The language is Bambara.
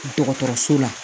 Dɔgɔtɔrɔso la